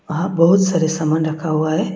यहां बहुत सारे सामान रखा हुआ है।